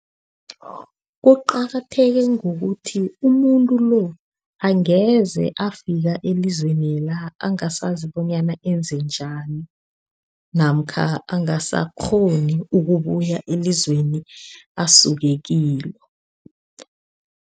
Kuqakatheke ngokuthi umuntu lo, angeze afika elizwenela angasazi bonyana enze njani, namkha angasakghoni ukubuya elizweni asuke kilo.